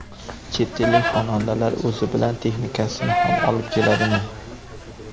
Chet ellik xonandalar o‘zi bilan texnikasini ham olib keladimi?